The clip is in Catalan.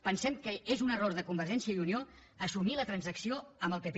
pensem que és un error de convergència i unió assumir la transacció amb el pp